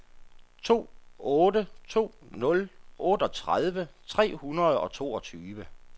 to otte to nul otteogtredive tre hundrede og toogtyve